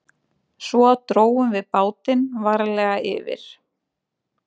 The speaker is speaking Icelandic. Svo drógum við bátinn varlega yfir